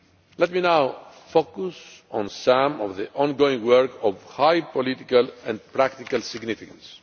Let me now focus on some of the ongoing work of high political and practical significance.